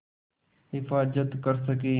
हिफ़ाज़त कर सकें